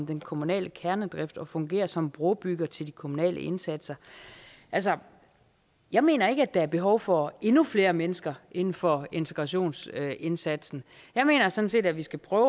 den kommunale kernedrift og fungere som brobygger til de kommunale indsatser jeg mener ikke der er behov for endnu flere mennesker inden for integrationsindsatsen jeg mener sådan set at vi skal prøve